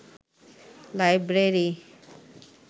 library